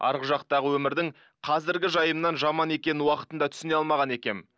арғы жақтағы өмірдің қазіргі жайымнан жаман екенін уақытында түсіне алмаған екенмін